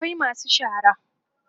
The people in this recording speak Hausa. akwai masu shara